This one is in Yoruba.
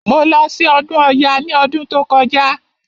Mo lọ sí ọdún ọya ní ọdún tí ó kọjá.